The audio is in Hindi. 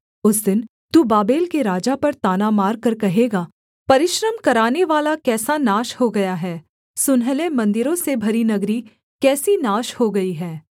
उस दिन तू बाबेल के राजा पर ताना मारकर कहेगा परिश्रम करानेवाला कैसा नाश हो गया है सुनहले मन्दिरों से भरी नगरी कैसी नाश हो गई है